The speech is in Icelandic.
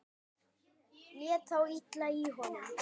Lét þá illa í honum.